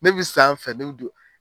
Ne bɛ sanfɛ ne bɛ